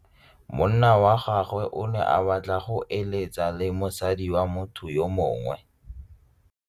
Monna wa gagwe o ne a batla go êlêtsa le mosadi wa motho yo mongwe.